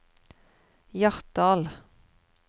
Hjartdal